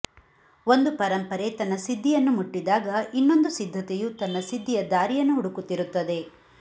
ಒಂದು ಪರಂಪರೆ ತನ್ನ ಸಿದ್ಧಿಯನ್ನು ಮುಟ್ಟಿದಾಗ ಇನ್ನೊಂದು ಸಿದ್ಧತೆಯು ತನ್ನ ಸಿದ್ಧಿಯ ದಾರಿಯನ್ನು ಹುಡುಕುತ್ತಿರುತ್ತದೆ